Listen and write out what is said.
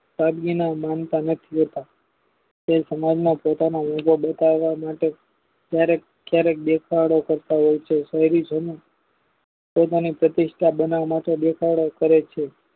સાદગીના લેતા તે સમાજમાં પોતાના બતાવ માટે કયારેક દેખાડો કરતા હોય છે શહેરી જાણો પોતાની પ્રતિસ્થા બનાવ માટે દેખાડો કરે છે